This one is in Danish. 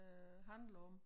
Øh handler om